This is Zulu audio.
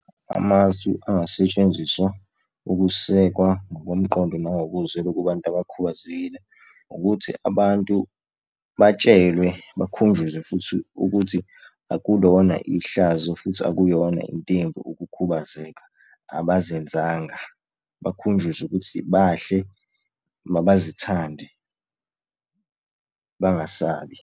Amasu angasetshenziswa ukusekwa ngokomqondo nangokozwelo kubantu abakhubazekile, ukuthi abantu batshelwe bakhunjuzwe futhi ukuthi akulona ihlazo futhi akuyona int' embi ukukhubazeka, abazenzanga. Bakhunjuzwe ukuthi bahle, mabazithande bangasabi.